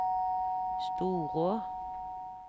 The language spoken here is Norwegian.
Storå